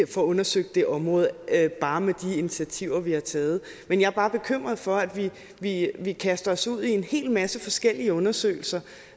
får undersøgt det område bare med de initiativer vi har taget men jeg er bare bekymret for at vi vi kaster os ud i en hel masse forskellige undersøgelser